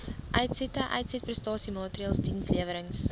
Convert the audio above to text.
uitsette uitsetprestasiemaatreëls dienslewerings